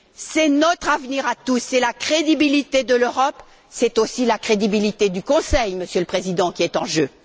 C'est notre avenir à tous, c'est la crédibilité de l'Europe, c'est aussi la crédibilité du Conseil, Monsieur le Président, qui est en jeu.